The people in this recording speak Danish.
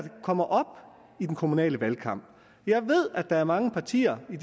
kommer op i den kommunale valgkamp jeg ved at der er mange partier i